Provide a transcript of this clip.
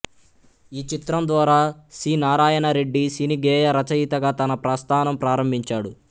ఈ చిత్రం ద్వారా సి నారాయణ రెడ్డి సినీ గేయ రచయితగా తన ప్రస్థానం ప్రారంభించాడు